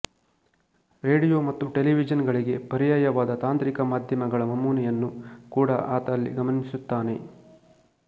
radio ಮತ್ತು television ಗಳಿಗೆ ಪರ್ಯಾಯವಾದ ತಾಂತ್ರಿಕ ಮಾಧ್ಯಮಗಳ ನಮೂನೆಯನ್ನು ಕೂಡಾ ಆತ ಅಲ್ಲಿ ಗಮನಿಸುತ್ತಾನೆ